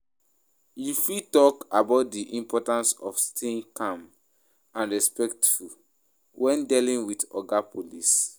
You fit talk about di importance of staying calm and respectful when dealing with oga police.